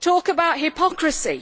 Talk about hypocrisy.